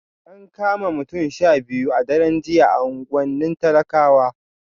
An kama mutane 12 a daren jiya a unguwannin talakawa